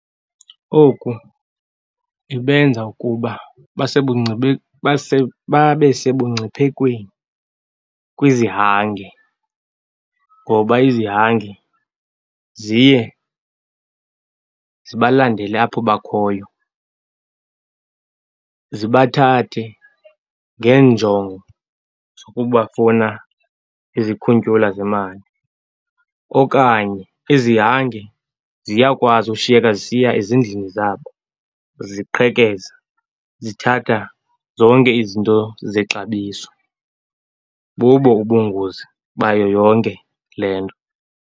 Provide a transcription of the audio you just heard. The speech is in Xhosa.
Oku ibenza ukuba babe sebungciphekweni kwizihange ngoba izihange ziye zibalandele apho bakhoyo, zibathathe ngeenjongo zokubafuna izikhuntyula zemali. Okanye izihange ziyakwazi ushiyeka zisiya ezindlini zabo, ziqhekeza, zithatha zonke izinto zexabiso. Bubo ubungozi bayo yonke le nto.